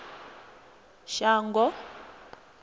shango